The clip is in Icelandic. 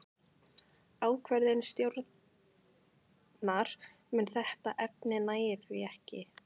Ákvörðun stjórnar um þetta efni nægir því ekki.